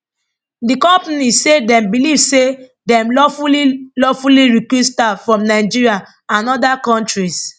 di company say dem beliv say dem lawfully lawfully recruit staff from nigeria and oda kontris